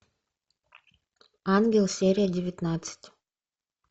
ангел серия девятнадцать